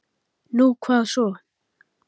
Nú, hvað svo?